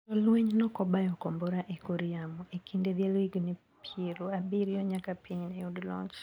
Jolweny nokobayo kombora e kor yamo ekinde dhialo higni piero abirio nyaka piny neyud loch.